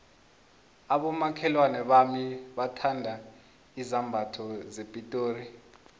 abomakhelwana bami bathanda izambatho zepitori